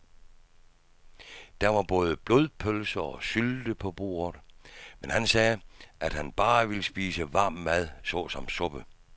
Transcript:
Der var både blodpølse og sylte på bordet, men han sagde, at han bare ville spise varm mad såsom suppe.